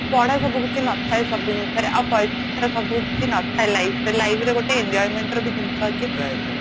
ପଢା ସବୁ କିଛି ନଥାଏ ସବୁବ ଜିନିଷରେ ଆଉ ପଇସା ସବୁଠି ନଥାଏ life ରେ life ରେ ଗୋଟେ enjoyment ବୋଲି ଜିନିଷ ଅଛି